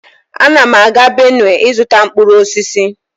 Ana m aga Benue ịzụta mkpụrụ osisi